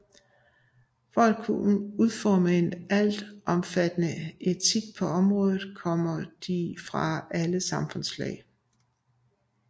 For at kunne udforme en altomfattende etik på området kommer de fra alle samfundslag